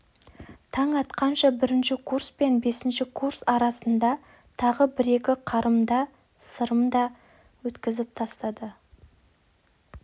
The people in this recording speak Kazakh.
таң атқанша бірінші курс пен бесінші курс арасында тағы бір-екі қарымда-сырымта өткізіп тастады